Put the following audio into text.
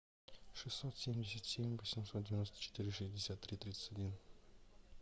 шестьсот семьдесят семь восемьсот девяносто четыре шестьдесят три тридцать один